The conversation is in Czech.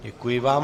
Děkuji vám.